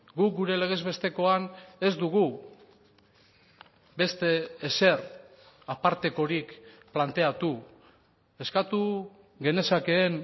guk gure legez bestekoan ez dugu beste ezer apartekorik planteatu eskatu genezakeen